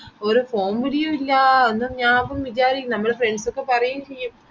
ഒരു phone വിളിയുമില്ല ഒന്നും ഞാൻ അപ്പൊ വിചാരിക്കും നമ്മൾ friends ഒക്കെ പറയുംചെയ്യും